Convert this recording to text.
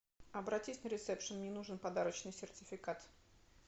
обратись в ресепшен мне нужен подарочный сертификат